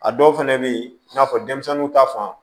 A dɔw fɛnɛ be ye i n'a fɔ denmisɛnninw ta fan